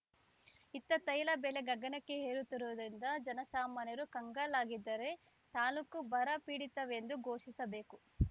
ಇತ್ತ ತೈಲ ಬೆಲೆ ಗಗನಕ್ಕೆ ಏರುತ್ತಿರುವುದರಿಂದ ಜನಸಾಮಾನ್ಯರು ಕಂಗಾಲಾಗಿದ್ದಾರೆ ತಾಲೂಕು ಬರಪೀಡಿತವೆಂದು ಘೋಷಿಸಬೇಕು